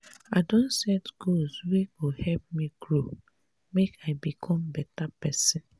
i don set goals wey go help me grow make i become beta pesin.